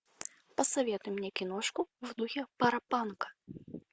посоветуй мне киношку в духе паропанка